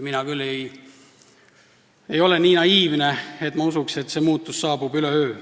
Mina küll ei ole nii naiivne, et ma usuks, nagu see muutus saabuks üleöö.